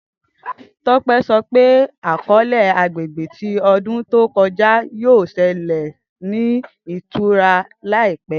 Tope sọ pe akọọlẹ agbegbe ti ọdun to kọja, yoo ṣe lẹsẹsẹ ni itara laipẹ.